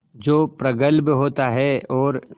जो प्रगल्भ होता है और